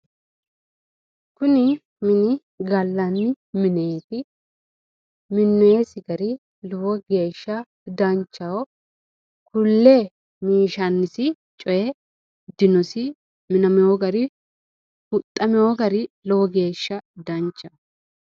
kuni mini gallanni mineeti minnoonnisi gari lowo geeshsha danchaho kulle minshannisiri coyi dinosi minamewo gari huxxamino gari lowo geeshsha danchaho.